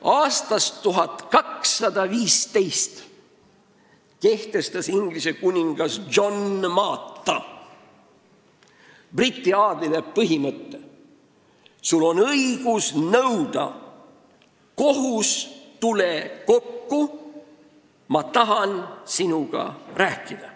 Aastal 1215 kehtestas Inglise kuningas John Maata briti aadlike jaoks põhimõtte, et neil on õigus nõuda: "Kohus, tule kokku, sest ma tahan sinuga rääkida.